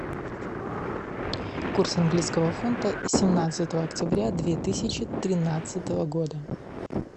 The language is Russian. курс английского фунта семнадцатого октября две тысячи тринадцатого года